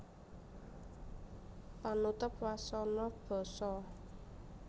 Panutup wasana basa